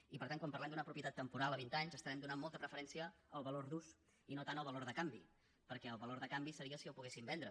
i per tant quan parlem d’una propietat temporal a vint anys estarem donant molta preferència al valor d’ús i no tant al valor de canvi perquè el valor de canvi seria si el poguessin vendre